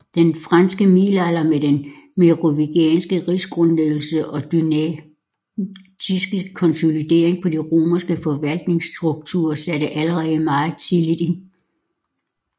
Den frankiske middelalder med den merovingiske rigsgrundlæggelse og dynastiske konsolidering på de romerske forvaltningsstrukturer satte allerede meget tidligt ind